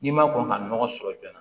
N'i ma kɔn ka nɔgɔ sɔrɔ joona